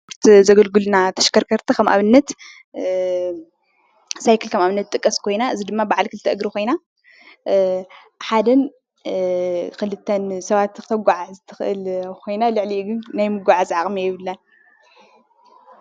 ዘገልግሉና ተሽከርከርቲ ከም ኣብነት ሳይክል ከም ኣብነት ትጥቀስ ኮይና እዚ ድማ ብዓል ክልተ እግሪ ኮይና ሓደን ክልተን ሰባት ክተጓዓዕዝ ትኽእል ኮይና ልዕሊኡ ግን ናይ ምጉዕጓዝ ዓቕሚ የብላን።